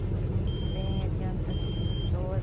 Sinto muito bem, adianto as pessoas.